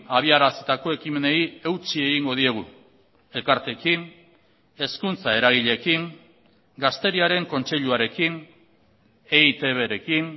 abiarazitako ekimenei eutsi egingo diegu elkarteekin hezkuntza eragileekin gazteriaren kontseiluarekin eitbrekin